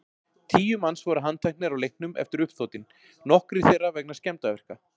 Tíu manns voru handteknir á leiknum eftir uppþotin, nokkrir þeirra vegna skemmdarverka.